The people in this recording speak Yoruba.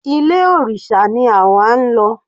Ilé òrìṣà ni àwa ń lọ.